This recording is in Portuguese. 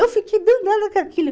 Eu fiquei danada com aquilo.